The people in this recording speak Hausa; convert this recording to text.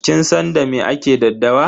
Kin san da me ake daddawa?